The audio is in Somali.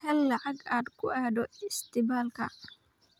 Hel lacag aad ku aado cisbitaalka.